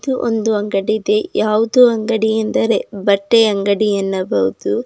ಇದು ಒಂದು ಅಂಗಡಿ ಇದೆ ಯಾವುದು ಅಂಗಡಿ ಅಂದರೆ ಬಟ್ಟೆ ಅಂಗಡಿ ಎನ್ನಬಹುದು.